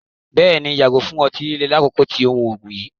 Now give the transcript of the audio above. Bẹ́ẹ̀ni, yàgò fún ọ̀tí-lílè lákòkó tì o mú oogun yìí